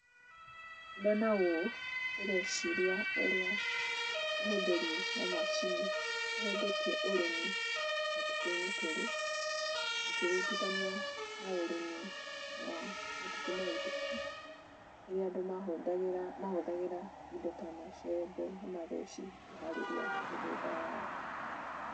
Ndona ũũ, ndĩreciria ũrĩa ũhũthĩri wa macini ũhũthĩtie ũrĩmi matukũ-inĩ tũrĩ, ũkĩringithania na ũrĩmi wa matukũ mahĩtũku, rĩrĩa andũ mahũthagĩra mahũthagĩra indo ta macembe na matheci kũharĩria mĩgũnda yao.